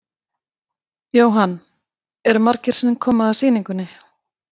Jóhann: Eru margir sem koma að sýningunni?